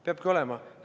Peabki olema.